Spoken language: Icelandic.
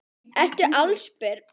Ertu allsber?